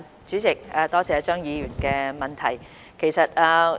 主席，多謝張議員的質詢。